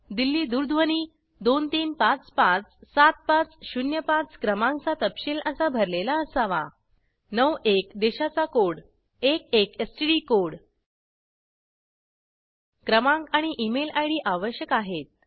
दिल्ली दूरध्वनी 23557505 क्रमांक चा तपशील असा भरलेला असावा 91 देशाचा कोड 11 एसटीडी कोड क्रमांक आणि ईमेल आयडी आवश्यक आहेत